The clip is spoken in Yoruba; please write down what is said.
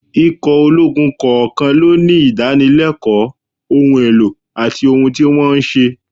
Ikọ̀ ológun kọ̀ọ̀kan ló ní ìdánilẹ́kọ̀ọ́, ohun èlò àti ohun tí wọ́n ń ṣe